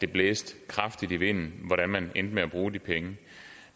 blæste kraftigt i vinden hvordan man endte med at bruge de penge